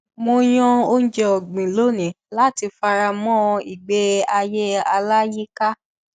mo yàn oúnjẹ ọgbìn lónìí láti fara mọ ìgbé ayé aláyíká